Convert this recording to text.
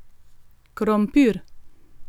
Krompir!